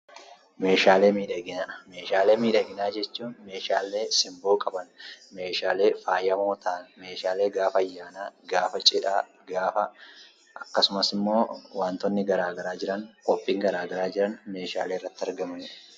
Meeshaalee miidhaginaa jechuun meeshaalee simboo qaban, meeshaalee faayamoo ta'an jechuu dandeenya. Meeshaaleen kunis gaafa cidhaa, gaafa ayyaanaa, akkasumas gaafa qophiileen garaa garaa jiran meeshaalee irratti argamanidha.